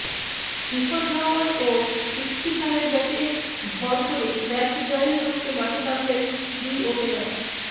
শিখর ধাওয়ান ও পৃথ্বী শায়ের ব্যাটে ভর করে ম্যাচ জয়ের লক্ষ্যে মাঠে নামলেন দুই ওপেনার